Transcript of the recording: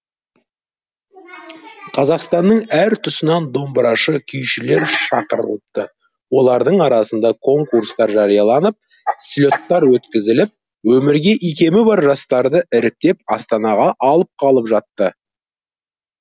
қазақстанның әр тұсынан домбырашы күйшілер шақырылыпты олардың арасында конкурстар жарияланып слеттар өткізіліп өнерге икемі бар жастарды іріктеп астанаға алып қалып жатты